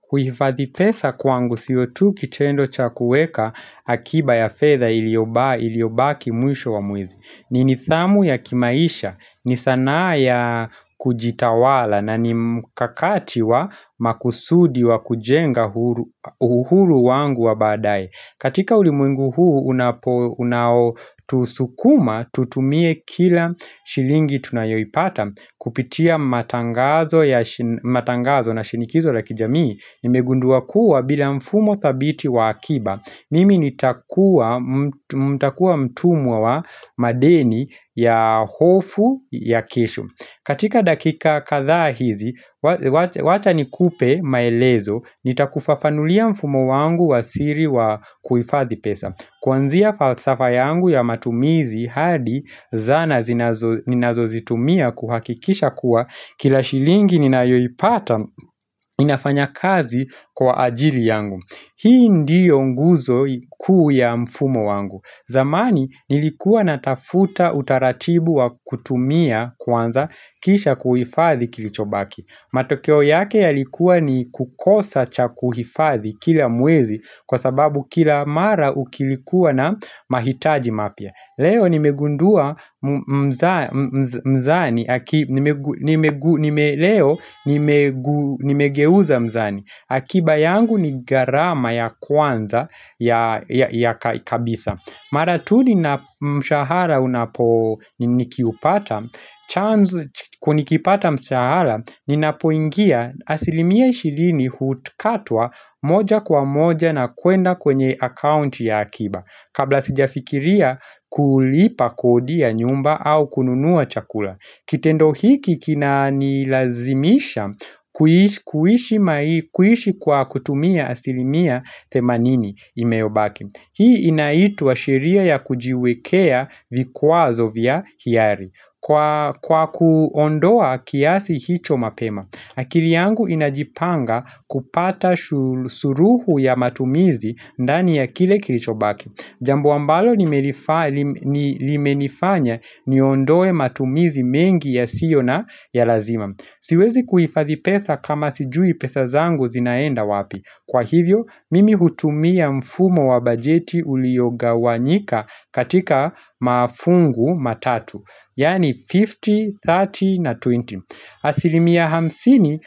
Kuhifadhi pesa kwangu siyo tu kitendo cha kueka akiba ya fedha iliobaki mwisho wa mwezi. Ni nithamu ya kimaisha, ni sana ya kujitawala na ni mkakati wa makusudi wa kujenga uhuru wangu wa baadae. Katika ulimwengu huu unao tusukuma tutumie kila shilingi tunayoipata kupitia matangazo na shinikizo la kijamii Nimegundua kuwa bila mfumo thabiti wa akiba Mimi nitakuwa mtumwa wa madeni ya hofu ya kisho katika dakika kadhaa hizi, wacha nikupe maelezo, nitakufafanulia mfumo wangu wa siri wa kuhifadhi pesa. Kuanzia falsafa yangu ya matumizi hadi zana zinazo zitumia kuhakikisha kuwa kila shilingi ninayo ipata inafanya kazi kwa ajili yangu. Hii ndiyo nguzo kuu ya mfumo wangu. Zamani nilikuwa natafuta utaratibu wa kutumia kwanza kisha kuhifadhi kilichobaki. Matokeo yake yalikuwa ni kukosa cha kuhifadhi kila mwezi kwa sababu kila mara kilikuwa na mahitaji mapya. Leo nimegeuza mizani akiba yangu ni garama ya kwanza ya kabisa Maratu ni na mshahara unapo nikiupata chanzo kuu nikipata mshahara Ninapoingia asilimia ishirini hukatwa moja kwa moja na kuenda kwenye account ya akiba Kabla sijafikiria kulipa kodi ya nyumba au kununua chakula Kitendo hiki kina nilazimisha kuishi kwa kutumia asilimia themanini imeubaki Hii inaitwa shiria ya kujiwekea vikwazo vya hiari Kwa kuondoa kiasi hicho mapema akili yangu inajipanga kupata suluhu ya matumizi ndani ya kile kilicho baki Jambo ambalo limenifanya niondoe matumizi mengi yasio na ya lazima. Siwezi kuhifadhi pesa kama sijui pesa zangu zinaenda wapi. Kwa hivyo, mimi hutumia mfumo wa bajeti uliyogawanyika katika mafungu matatu. Yani 50, 30 na 20. Asilimia hamsini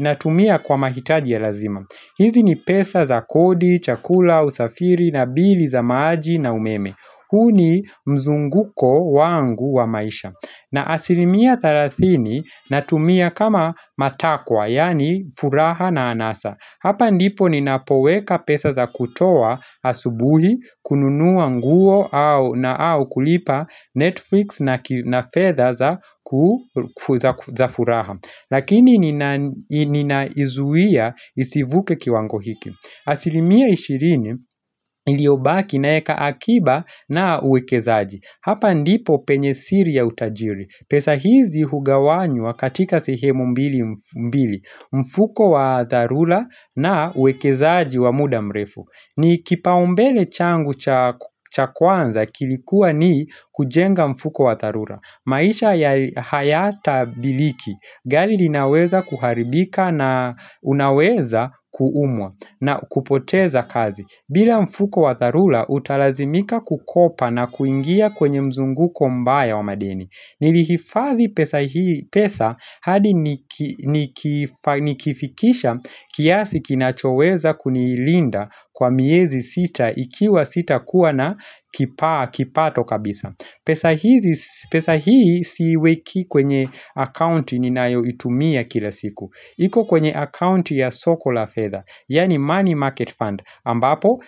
na tumia kwa mahitaji ya lazima hizi ni pesa za kodi, chakula, usafiri na bili za maji na umeme huu ni mzunguko wangu wa maisha na asilimia thalathini natumia kama matakwa, yani furaha na anasa Hapa ndipo ninapoweka pesa za kutoa asubuhi kununua nguo na au kulipa Netflix na fedha za za furaha Lakini ninaizuia isivuke kiwango hiki asilimia ishirini iliobaki naeka akiba na uwekezaji Hapa ndipo penye siri ya utajiri pesa hizi hugawanywa katika sihemu mbili mbili mfuko wa dharura na uwekezaji wa muda mrefu ni kipaumbele changu cha kwanza kilikuwa ni kujenga mfuko wa dharura maisha ya hayata biriki Gari linaweza kuharibika na unaweza kuumwa na kupoteza kazi bila mfuko wa dharula utalazimika kukopa na kuingia kwenye mzunguko mbaya wa madeni Nilihifadhi pesa hadi nikifikisha kiasi kinachoweza kunilinda kwa miezi sita ikiwa sitakuwa na kipato kabisa pesa hii siiweki kwenye accounti ninayo itumia kila siku iko kwenye accounti ya soko la fedha Yani money market fund ambapo,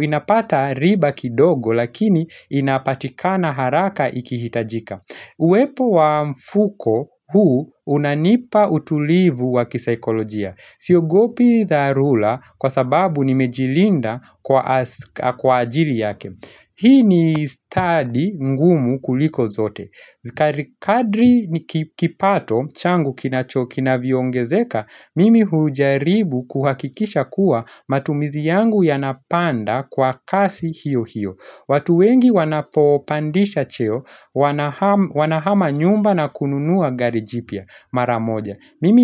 inapata riba kidogo lakini inapatika na haraka ikihitajika. Uwepo wa mfuko huu unanipa utulivu wa kisaikolojia. Siogopi dharula kwa sababu nimejilinda kwa ajili yake. Hii ni study ngumu kuliko zote. Zikari kadri kipato, changu kinacho kinavyo ongezeka, mimi hujaribu kuhakikisha kuwa matumizi yangu yanapanda kwa kasi hiyo hiyo. Watu wengi wanapopandisha cheo, wanahama nyumba na kununua gari jipya maramoja.